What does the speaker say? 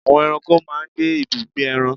Àwọn eranko máa n gbé ibùjẹ́ eran